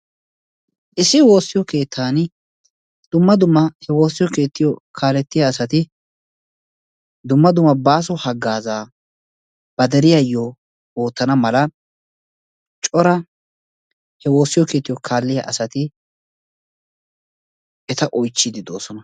Issi woossiyoo keettaani dumma dumma he woossiyoo keettiyoo kaalletiyaa asati dumma dumma baaso hagaazaa ba deriyaayoo oottana mala cora he woossiyoo keettiyoo kalettiyaa asati eta oychchiidi de"oosona.